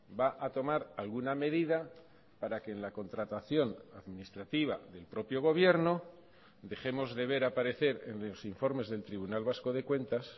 va a tomar alguna medida para que en la contratación administrativa del propio gobierno dejemos de ver aparecer en los informes del tribunal vasco de cuentas